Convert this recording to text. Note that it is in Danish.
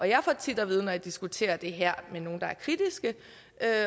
jeg får tit at vide når jeg diskuterer det her med nogle der er kritiske